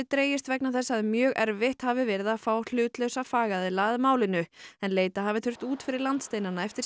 dregist vegna þess að mjög erfitt hafi verið að fá hlutlausa fagaðila að málinu en leita hafi þurft út fyrir landsteinana eftir